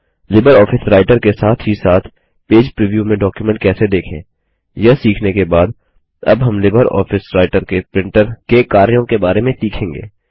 Libre Office Writer के साथ ही साथ पेज प्रिव्यू में डॉक्युमेंट कैसे देखें यह सीखने के बाद अब हम लिबर ऑफिस राइटर में प्रिंटर के कार्यों के बारे में सीखेंगे